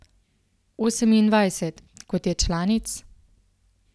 Osemindvajset, kot je članic?